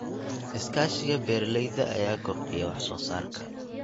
Iskaashiga beeralayda ayaa kordhiya wax soo saarka.